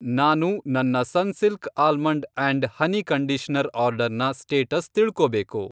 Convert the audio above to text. ನಾನು ನನ್ನ Sunsilk almond and honey conditioner ಆರ್ಡರ್ನ ಸ್ಟೇಟಸ್ ತಿಳ್ಕೋಬೇಕು.